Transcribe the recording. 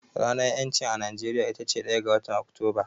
Ranar ƴancin a Najeriya itace ɗaya ga watan Oktoba.